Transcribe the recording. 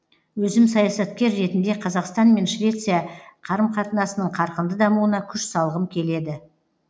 өзім саясаткер ретінде қазақстан мен швеция қарым қатынасының қарқынды дамуына күш салғым келеді